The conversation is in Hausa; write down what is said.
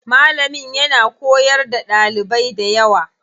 Malamin yana koyar da ɗalibai dayawa.